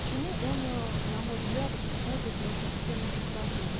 почему он на мой взгляд уходит постепенно в литературу